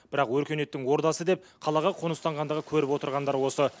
бірақ өркениеттің ордасы деп қалаға қоныстанғандағы көріп отырғандары осы